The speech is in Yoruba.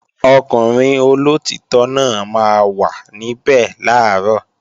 Ọkùnrin olóòtítọ́ náà máa wà níbẹ̀ làárọ̀